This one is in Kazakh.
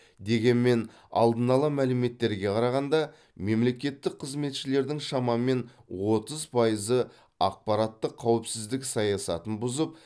дегенмен алдын ала мәліметтерге қарағанда мемлекеттік қызметшілердің шамамен отыз пайызы ақпараттық қауіпсіздік саясатын бұзып